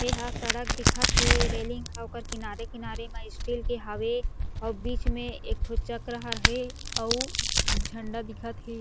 एहा सड़क दिखत हें रेलिंग ह ओकर किनारे-किनारे म स्टील के हावे अउ बीच में एक ठो चक्र हर हे अउ उ झंडा दिखत हे।